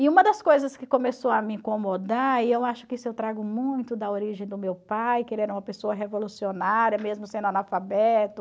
E uma das coisas que começou a me incomodar, e eu acho que isso eu trago muito da origem do meu pai, que ele era uma pessoa revolucionária, mesmo sendo analfabeto,